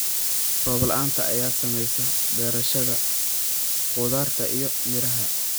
Roob la'aanta ayaa saamaysa beerashada khudaarta iyo miraha.